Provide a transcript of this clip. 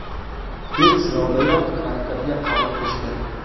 Ilk sinovdayoq maktabga qabul qilishgan.